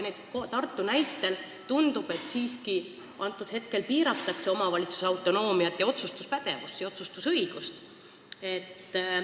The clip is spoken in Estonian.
Tartu näitel tundub, et siiski hetkel piiratakse omavalitsuse autonoomiat, otsustuspädevust ja otsustusõigust.